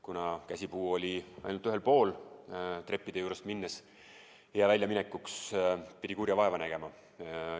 Kuna käsipuu oli ainult ühel pool treppide juurest minnes, pidi väljaminekuks kurja vaeva nägema.